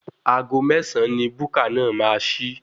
Aago mẹ́sàn-án ni búkà náà máa ṣí.